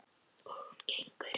Og hún gengur inn.